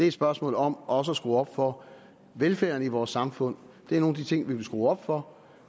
et spørgsmål om også at skrue op for velfærden i vores samfund det er nogle af de ting vi vil skrue op for